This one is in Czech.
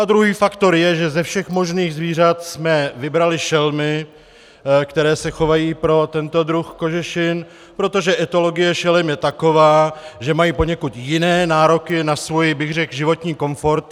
A druhý faktor je, že ze všech možných zvířat jsme vybrali šelmy, které se chovají pro tento druh kožešin, protože etologie šelem je taková, že mají poněkud jiné nároky na svůj, řekl bych, životní komfort.